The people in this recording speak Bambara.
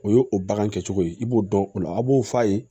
O ye o bagan kɛcogo ye i b'o dɔn o la a b'o f'a ye